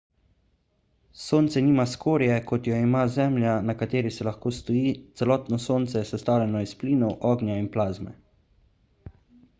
sonce nima skorje kot jo ima zemlja na kateri se lahko stoji celotno sonce je sestavljeno iz plinov ognja in plazme